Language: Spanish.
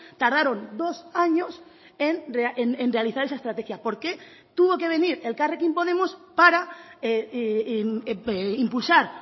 tardaron dos años en realizar esa estrategia por qué tuvo que venir elkarrekin podemos para impulsar